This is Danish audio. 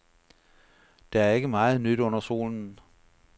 Der er ikke meget nyt under solen.